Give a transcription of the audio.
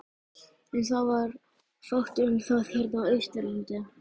En það var fátt um það hérna á Austurlandi.